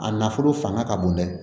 A nafolo fanga ka bon dɛ